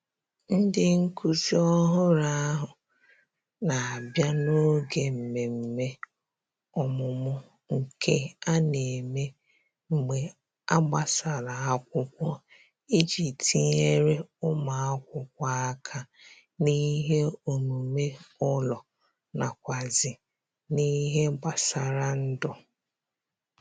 Ndị nkụzi ọhụrụ ahụ na abịa n'oge mmemme ọmụmụ nke a na - eme mgbe a gbasara akwụkwọ iji tinyere ụmụ akwụkwọ aka n'ihe omume ụlọ nakwazi n'ihe gbasara ndụ